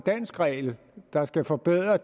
eller